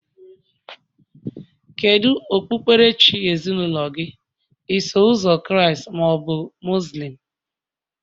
Kedu okpukperechi ezinaụlọ gị, Iso Ụzọ Kraịst ma ọ bụ Muslim?